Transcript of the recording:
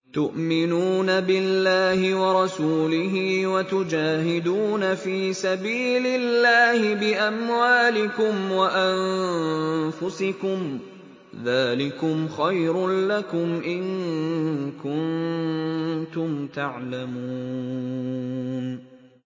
تُؤْمِنُونَ بِاللَّهِ وَرَسُولِهِ وَتُجَاهِدُونَ فِي سَبِيلِ اللَّهِ بِأَمْوَالِكُمْ وَأَنفُسِكُمْ ۚ ذَٰلِكُمْ خَيْرٌ لَّكُمْ إِن كُنتُمْ تَعْلَمُونَ